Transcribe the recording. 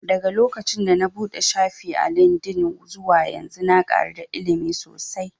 Daga lokacin da na buɗe shafi a lindin zuwa yanzu na ƙaru da ilimi sosai